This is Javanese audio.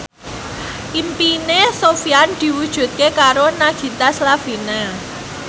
impine Sofyan diwujudke karo Nagita Slavina